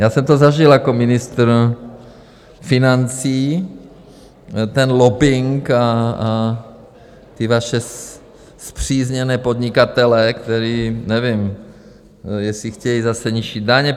Já jsem to zažil jako ministr financí, ten lobbing a ty vaše spřízněné podnikatele, kteří nevím, jestli chtějí zase nižší daně...